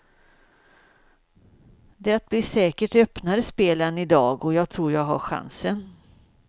Det blir säkert öppnare spel än i dag och jag tror jag har chansen.